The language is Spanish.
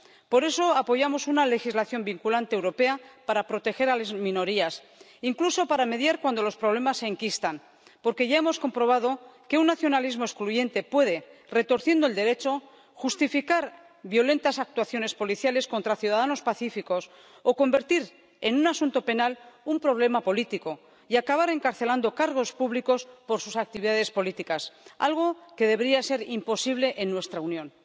Por eso, apoyamos una legislación vinculante europea para proteger a las minorías, incluso para mediar cuando los problemas se enquistan, porque ya hemos comprobado que un nacionalismo excluyente puede, retorciendo el Derecho, justificar violentas actuaciones policiales contra ciudadanos pacíficos o convertir en un asunto penal un problema político y acabar encarcelando cargos públicos por sus actividades políticas, algo que debería ser imposible en nuestra Unión.